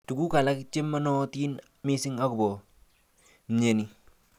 Tukuk alak chemanootin missing akobo mnyeni.